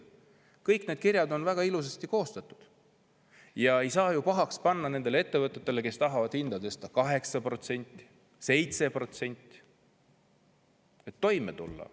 Kõik need kirjad on väga ilusasti koostatud ja ei saa ju nendele ettevõtetele pahaks panna, et nad tahavad hinda tõsta 7% või 8%, et toime tulla.